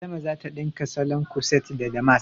Adama zata ɗinka salon kuset da damask